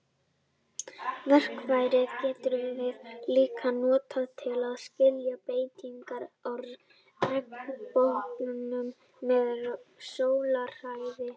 Verkfærið getum við líka notað til að skilja breytingar á regnboganum með sólarhæð.